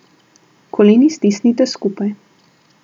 Koleni stisnite skupaj.